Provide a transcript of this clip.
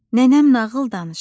nənəm nağıl danışır.